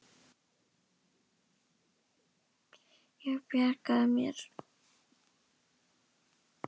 Ég bjarga mér.